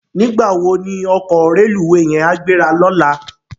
Nigbá wó ni òkò rélúwé yèn á gbérá lòlá?